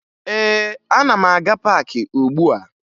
Ee, ana m aga paakị ugbua